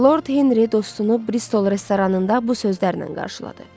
Lord Henri dostunu Bristol restoranında bu sözlərlə qarşıladı.